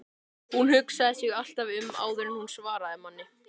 Hún hugsaði sig alltaf um áður en hún svaraði manni.